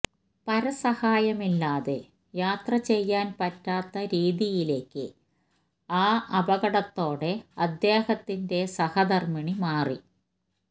പരസഹായമില്ലാതെ യാത്ര ചെയ്യാന് പറ്റാത്ത രീതിയിലേക്ക് ആ അപകടത്തോടെ അദ്ദേഹത്തിന്റെ സഹധര്മ്മിണി മാറി